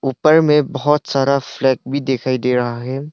ऊपर में बहोत सारा फ्लैग भी दिखाई दे रहा है।